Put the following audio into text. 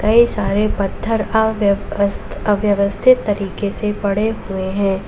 कई सारे पत्थर अव्यवस्थित तरीके से पड़े हुए है।